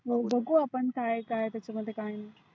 मग बघु आपण त्याच्यामध्ये काय काय नाही.